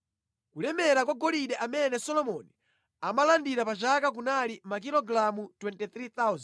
Kulemera kwa golide amene Solomoni amalandira pa chaka kunali makilogalamu 23,000,